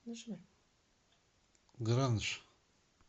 гранж